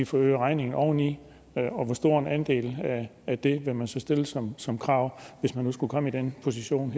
så øger regningen oven i det og hvor stor en andel af det vil man så stille som som krav hvis man nu skulle komme i den position